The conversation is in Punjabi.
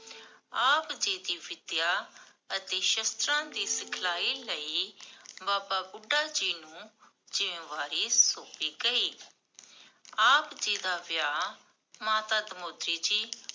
ਆਪ ਜੀ ਦੀ ਵਿਦਿਆ ਅਤੇ ਸ਼ਾਸਤਰਾਂ ਦੀ ਸਿਖਲਾਈ ਲਈ, ਬਾਬਾ ਬੁਢਾ ਜੀ ਨੂੰ ਜ਼ਿਮ੍ਮੇਵਾਰੀ ਸੋਮ੍ਪੀ ਗਈ । ਆਪ ਜੀ ਦਾ ਵਿਆਹ ਮਾਤਾ ਧਨੋਤੀ ਜੀ